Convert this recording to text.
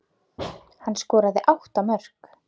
Hann skoraði átta mörk.